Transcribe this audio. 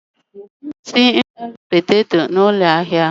Anyị na-esi nri poteto Irish na ụlọ ahịa.